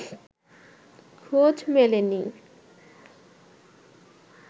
খোঁজ মেলেনি